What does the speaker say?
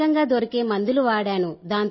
స్థానికంగా దొరికే మందులు వాడాను